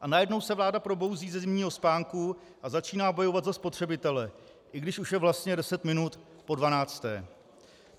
A najednou se vláda probouzí ze zimního spánku a začíná bojovat za spotřebitele, i když už je vlastně deset minut po dvanácté.